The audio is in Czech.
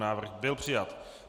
Návrh byl přijat.